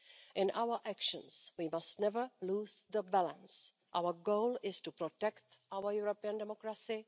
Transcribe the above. In our actions we must never lose the balance. Our goal is to protect our European democracy.